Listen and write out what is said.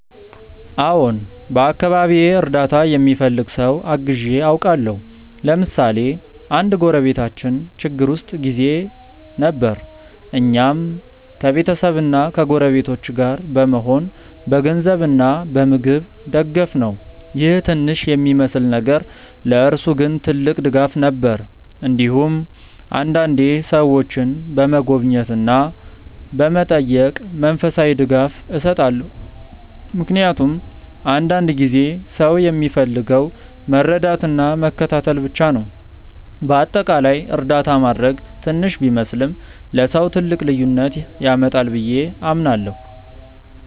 አዎን፣ በአካባቢዬ እርዳታ የሚፈልግ ሰው አግዤ አውቃለሁ። ለምሳሌ አንድ ጎረቤታችን ችግር ውስጥ ጊዜ ነበር፣ እኛም ከቤተሰብና ከጎረቤቶች ጋር በመሆን በገንዘብ እና በምግብ ደገፍነው ይህ ትንሽ የሚመስል ነገር ለእርሱ ግን ትልቅ ድጋፍ ነበር። እንዲሁም አንዳንዴ ሰዎችን በመጎብኘት እና በመጠየቅ መንፈሳዊ ድጋፍ እሰጣለሁ፣ ምክንያቱም አንዳንድ ጊዜ ሰው የሚፈልገው መረዳትና መከታተል ብቻ ነው። በአጠቃላይ እርዳታ ማድረግ ትንሽ ቢመስልም ለሰው ትልቅ ልዩነት ያመጣል ብዬ አምናለሁ።